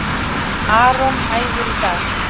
Aron æfir í dag